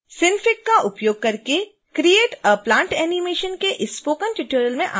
synfig का उपयोग करके create a plant animation के इस स्पोकन ट्यूटोरियल में आपका स्वागत है